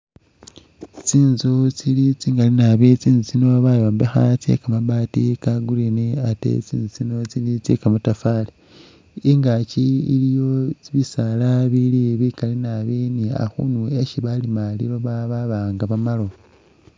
Tsinzu tsili tsigaali naabi tsinzu tsino batombekha tsekamabaati ka'green ate tsinzu tsino tsili tsekamatafali ingaki iliyo bisaala bili bikaali naabi ni'akhuuni esi balima liloba babanga bamaalawo